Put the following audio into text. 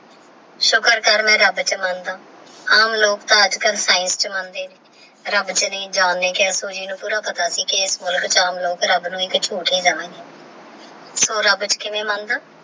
ਸੁਕਰ ਕਰ ਨਾ ਰੱਬ ਚ ਮੰਦਾ ਆਮ ਲੋਕ ਤਹ ਅਜੇ ਕਲ ਸ੍ਕਿਏਨ੍ਕੇ ਮਨਦੇ ਨੇ ਰੱਬ ਚ ਨਹਾ ਜਾਨ ਨੇ ਕ਼ਯਾ ਸੁਹਿ ਨੂ ਪੂਰਾ ਪਤਾ ਸੀ ਕੀ ਮਿਲਕ ਚ ਆਮ ਲੋਗ ਰੱਬ ਨੂਈ ਏਕ ਝੂਟ ਹੀ ਦਵਾ ਗੇ ਓਹ ਰੱਬ ਚ ਕਿਵੇ ਮੰਦਾ